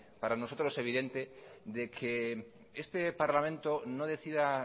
para nosotros evidente de que este parlamento no decida